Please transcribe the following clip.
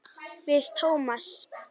Við Tómas.